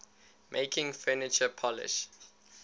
making furniture polish